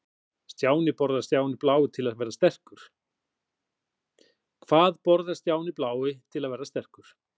Hvað borðar Stjáni blái til að verða sterkur?